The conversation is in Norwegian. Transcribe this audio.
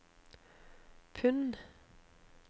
pund